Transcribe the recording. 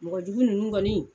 Mɔgɔ jugu nunnu kɔni.